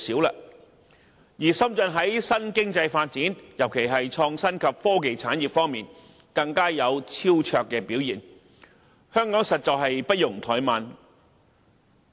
再者，深圳在新經濟發展，特別是創新及科技產業方面更是有超卓表現，香港實在不容怠慢。